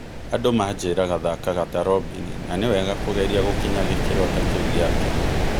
Andũ manjĩraga thakaga ta Robini, na nĩ wega kũgeria gũkinya gĩkĩro ta kĩu gĩake.